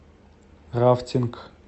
рафтинг